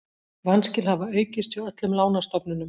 Vanskil hafa aukist hjá öllum lánastofnunum